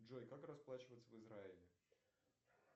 джой как расплачиваться в израиле